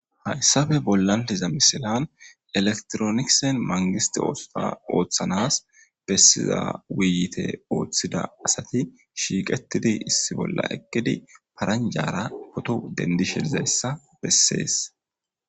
Hayssappe bollan de'iza misilan electronics mangistte oosota ooththanas besiza woyiyotte ooththida asatti shiiqettidii issi bolla eeqqiddi paranjjara potto dendishe dizayssa besses